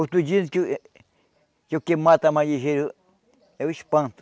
Outros dizem que o que o que mata mais ligeiro é o espanto.